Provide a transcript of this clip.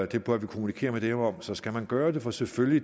det bør vi kommunikere med dem om så skal man gøre det for selvfølgelig